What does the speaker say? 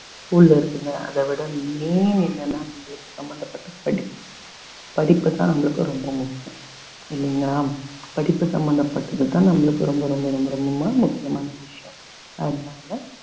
உள்ள இருக்குங்க அத விட மே என்னனா நம்மளுக்கு சம்பந்தப்பட்ட படிப்பு படிப்புதான் நம்மளுக்கு ரொம்ப முக்கியம் இல்லைங்களா படிப்பு சம்பந்தப்பட்டதுதான் நம்மளுக்கு ரொம்ப ரொம்ப ரொம்ப ரொம்ப முக்கியமான விஷயம் அதனால